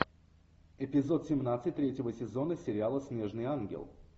эпизод семнадцать третьего сезона сериала снежный ангел